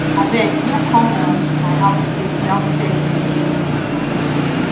abeg no come um my house again without telling me again